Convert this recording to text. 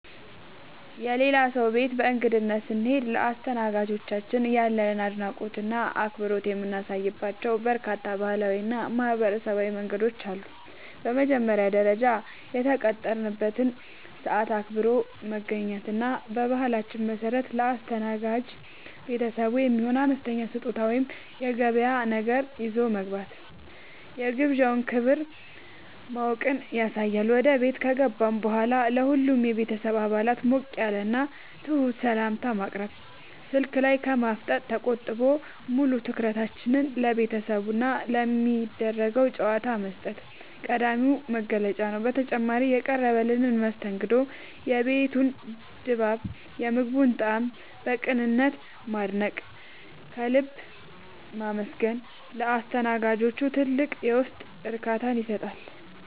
የሌላ ሰው ቤት በእንግድነት ስንሄድ ለአስተናጋጆቻችን ያለንን አድናቆትና አክብሮት የምናሳይባቸው በርካታ ባህላዊና ማኅበራዊ መንገዶች አሉ። በመጀመሪያ ደረጃ፣ የተቀጠረበትን ሰዓት አክብሮ መገኘት እና በባህላችን መሠረት ለአስተናጋጅ ቤተሰቡ የሚሆን አነስተኛ ስጦታ ወይም የገበያ ነገር ይዞ መግባት የግብዣውን ክብር ማወቅን ያሳያል። ወደ ቤት ከገባን በኋላም ለሁሉም የቤተሰብ አባላት ሞቅ ያለና ትሑት ሰላምታ ማቅረብ፣ ስልክ ላይ ከማፍጠጥ ተቆጥቦ ሙሉ ትኩረትን ለቤተሰቡና ለሚደረገው ጨዋታ መስጠት ቀዳሚው መገለጫ ነው። በተጨማሪም፣ የቀረበልንን መስተንግዶ፣ የቤቱን ድባብና የምግቡን ጣዕም በቅንነት ማድነቅና ከልብ ማመስገን ለአስተናጋጆቹ ትልቅ የውስጥ እርካታን ይሰጣል።